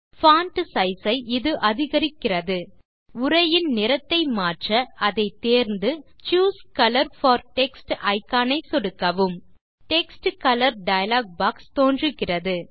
font size ஐ இது அதிகரிக்கிறது உரையின் நிறத்தை மாற்ற அதை தேர்ந்து choose colour for text icon ஐ சொடுக்கவும் டெக்ஸ்ட் கலர் டயலாக் பாக்ஸ் தோன்றுகிறது